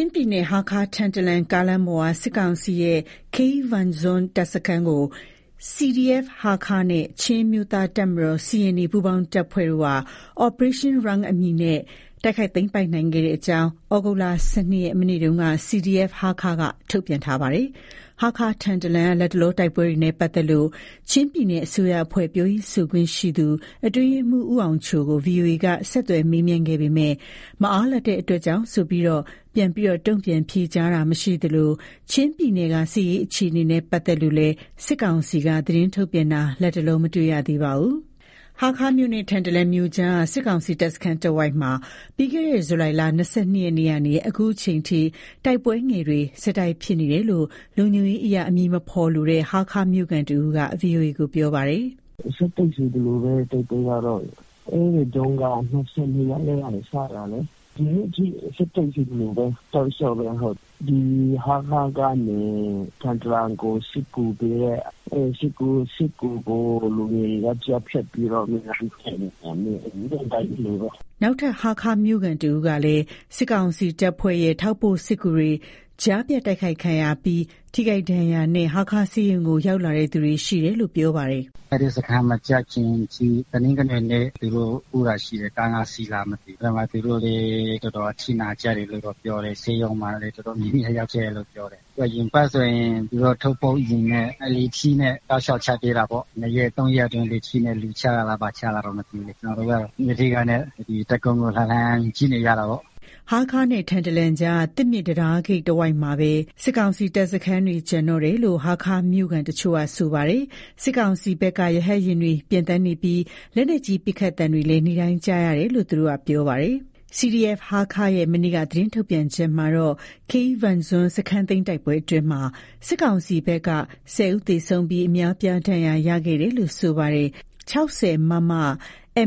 ျင်းပြည်နယ် ဟားခါး-ထန်တလန် ကားလမ်းပေါ်က စစ်ကောင်စီရဲ့ Keivangzuan တပ်စခန်းကို CDF ဟားခါးနဲ့ ချင်းအမျိုးသားတပ်မတော် ပူးပေါင်းတပ်ဖွဲ့တို့က Operation Rung အမည်နဲ့ တိုက်ခိုက်သိမ်းပိုက်နိုင်ခဲ့ကြောင်း သြဂုတ်လ ၁၂ ရက် မနေ့က CDF ဟားခါးက ထုတ်ပြန်ထားပါတယ်။ ဟားခါး-ထန်တလန်လမ်းက လတ်တလော တိုက်ပွဲနဲ့ ပတ်သက်လို့ ချင်းပြည်နယ် အစိုးရအဖွဲ့ ပြောရေးဆိုခွင့်ရှိသူ အတွင်းရေးမှူး ဦးအောင်ချိုကို VOA က ဆက်သွယ်မေးမြန်းခဲ့ပေမယ့်လည်း မအားလပ်တဲ့အတွက်ကြောင့်ဆိုပြီး ဖြေကြားခြင်းမရှိသလို၊ ချင်းပြည်နယ်က စစ်ရေး အခြေအနေနဲ့ ပတ်သက်လို့လည်း စစ်ကောင်စီက သတင်းထုတ်ပြန်တာ လတ်တလော မတွေ့ရပါဘူး။ ဟားခါးမြို့နဲ့ ထန်တလန်မြို့ကြားက စစ်ကောင်စီ တပ်စခန်းတဝိုက်မှာ ပြီးခဲ့တဲ့ ဇူလိုင်လ ၂၂ ရက်နေ့ကနေ အခုချိန်ထိတိုက်ပွဲငယ်တွေ ဆက်တိုက် ဖြစ်ပွားနေတယ်လို့ လုံခြုံရေးအရ အမည်မဖေါ်လိုတဲ့ ဟားခါးမြို့ခံတဦးက ဗွီအိုအေကို ပြောပါတယ်။ “ဆက်တိုက်ဆိုသလိုပဲ တိုက်ပွဲကတော့ အဲ့ဒီတုန်းက ၂၂ ရက်နေ့ကနေ စတာလေး၊ ဒီနေ့အထိ ဆက်တိုက်ဆိုသလိုပဲ တောက်လျှောက်ပဲ ဟုတ်။ ဒီဟားခါးကနေ ထန်တလန်ကို စစ်ကူးပေးတဲ့ အဲ့စစ်ကူးကို လူငယ်တွေက ကြားဖြတ်ပြီးတော့ နေ့တိုင်းတိုက်နေတာ နေ့တိုင်းလိုလိုပဲ ဒါကတော့ ဖြစ်တယ်။” နောက်ထပ် ဟားခါးမြို့ခံတဦးကလည်း စစ်ကောင်စီတပ်ဖွဲ့ရဲ့ ထောက်ပို့စစ်ကူတွေ ကြားဖြတ်တိုက်ခိုက်ခံရပြီး ထိခိုက်ဒဏ်ရာနဲ့ ဟားခါးဆေးရုံကို ရောက်လာသူတွေ ရှိတယ်လို့ ပြောပါတယ်။ “အဲ့ဒီစခန်းမကျခင်အထိ တနင်္ဂနွေနေ့က သူတို့ ပို့တာရှိတယ်၊ ကား ၅စီးလား မသိဘူး။ အဲ့ဘက်မှာ သူတို့လည်း တော်တော်အထိနာကြတယ်လို့တော့ ပြောတယ်၊ ဆေးရုံမှာလည်း တော်တော်များများရောက်ခဲ့တယ်လို့ ပြောတယ်။ အရင်အပတ်ကဆိုရင် သူတို့ ထောက်ပို့ယာဉ်နဲ့ လေထီးနဲ့ တောက်လျှောက်ချသေးတာပေါ့၊ ၂ရက် ၃ရက်အတွင်း လေထီးနဲ့ လူချတာလား ဘာချတာတော့ မသိဘူးလေ၊ ကျနော်တို့က တပ်ကုန်းကို လှမ်းလှမ်းကြည့်နေရတာပေါ့။” ဟားခါးနဲ့ ထန်တလန်ကြားက သစ်မြစ်တံတားဂိတ်တဝိုက်မှာပဲ စစ်ကောင်စီတပ်စခန်းတွေ ကျန်တော့တာလို့ ဟားခါးမြို့ခံတချို့က ဆိုပါတယ်။ စစ်ကောင်စီဘက်က ရဟတ်ယာဉ်တွေ ပျံသန်းနေပြီး လက်နက်ကြီး ပစ်ခတ်သံတွေလည်း နေ့တိုင်းကြားနေရတယ်လို့ သူတို့က ပြောပါတယ်။ CDF ဟားခါး ရဲ့ မနေ့က သတင်းထုတ်ပြန်ချက်မှာတော့- Keivangzuan စခန်းသိမ်းတိုက်ပွဲအတွင်းမှာ စစ်ကောင်စီဘက်က ၁၀ ဦးသေဆုံးပြီး အများအပြားဒဏ်ရာ ရရှိခဲ့တယ်လို့ ဆိုပါတယ်။ ၆၀ မမ ၊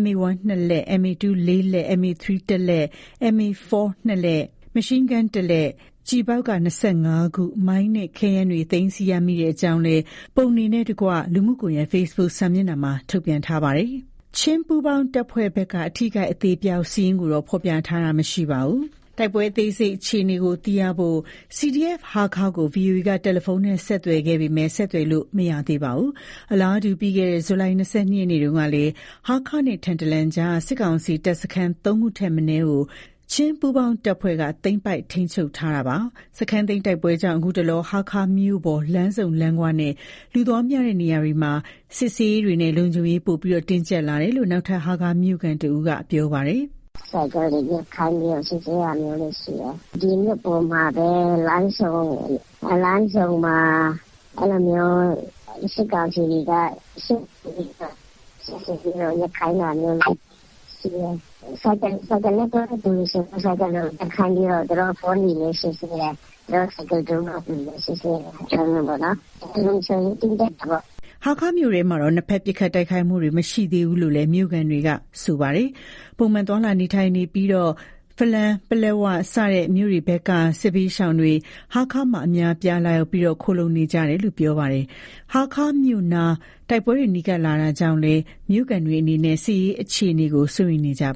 MA 1 နှစ်လက်၊ MA 2 လေးလက်၊ MA 3 တစ်လက်၊ MA 4 နှစ်လက် ၊ Machin gun တစ်လက်၊ ကျည်ဘောက် ၂၅ ခု၊ မိုင်း နဲ့ ခဲယမ်းများ သိမ်းဆည်းရမိကြောင်း ပုံနှင့်တကွ လူမှုကွန်ရက် Facebook စာမျက်နှာမှာ ထုတ်ပြန်ထားပါတယ်။ ချင်းပူးပေါင်းတပ်ဖွဲ့ဘက်က အထိအခိုက်အသေအပျောက် စာရင်းကိုတော့ ဖော်ပြထားတာမရှိပါဘူး။ တိုက်ပွဲအသေးစိတ်အခြေအနေကို သိရဖို့ CDF ဟားခါးကို VOA က တယ်လီဖုန်းနဲ့ ဆက်သွယ်ခဲ့ပေမယ့် ဆက်သွယ်လို့ မရသေးပါဘူး။ အလားတူ ပြီးခဲ့တဲ့ ဇူလိုင် ၂၂ နေ့တုန်းကလည်း ဟားခါးနဲ့ ထန်တလန်ကြားက စစ်ကောင်စီတပ်စခန်း ၃ ခုထပ်မနည်းကို ချင်းပူးပေါင်းတပ်ဖွဲ့က သိမ်းပိုက်ထိန်းချုပ်ထားတာပါ။ စခန်းသိမ်းတိုက်ပွဲကြောင့် ခုတလော ဟားခါးမြို့ပေါ် လမ်းဆုံလမ်းခွနဲ့ လူသွားများတဲ့ နေရာတွေမှာ စစ်ဆေးရေးတွေနဲ့ လုံခြုံရေးပိုမိုတင်းကြပ်လာတယ်လို့ နောက်ထပ် ဟားခါးမြို့ခံတဦးက အ ခုလို ပြောပါတယ်။ “ဆိုင်ကယ်တွေ ရပ်ခိုင်းပြီးတော့ စစ်ဆေးတာမျိုးတွေ ရှိတယ်။ ဒီမြို့ပေါ်မှာပဲ လမ်းဆုံမှာ အဲ့လိုမျိုး စစ်ကောင်စီတွေက စစ်ဆေးပြီးတော့ ရပ်ခိုင်းတာမျိုးရှိတယ်။ ဆိုင်ကယ်နဲ့သွားတဲ့သူတွေဆို ဆိုင်ကယ်ရပ်ခိုင်းပြီးတော့ သူတို့ အဖုံးတွေ စစ်ဆေးတာမျိုးပေါ့နော်။ လုံခြုံရေးတင်းကြပ်တယ်ပေါ့နော်။” ဟားခါးမြို့တွင်းမှာတော့ နှစ်ဖက်ပစ်ခတ်တိုက်ခိုက်မှုတွေ မရှိသေးဘူးလို့လည်း မြို့ခံတွေက ဆိုပါတယ်။ ပုံမှန်သွားလာနေထိုင်နေကြပြီး ဖလမ်း၊ ပလက်ဝ စတဲ့ မြို့တွေဘက်က စစ်ဘေးရှောင်တွေ ဟားခါးမှာ အများအပြား လာရောက်ခိုလှုံနေကြတာလို့ ပြောပါတယ်။ ဟားခါးမြို့နား တိုက်ပွဲတွေ နီးကပ်လာတာကြောင့်လည်း မြို့ခံတွေအနေနဲ့ စစ်ရေးအခြေအနေကို စိုးရိမ်နေကြပါ